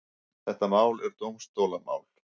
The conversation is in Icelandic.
Þetta mál er dómstólamál.